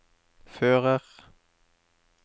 fører